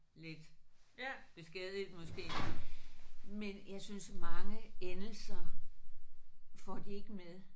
Lidt beskadiget måske men jeg synes mange endelser får de ikke med